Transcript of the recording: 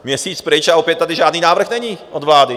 Měsíc pryč, a opět tady žádný návrh není od vlády.